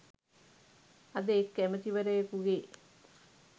අද එක් ඇමැතිවරයකුගේ